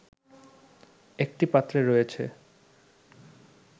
একটি পাত্রে রয়েছে